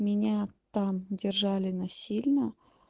меня там держали насильно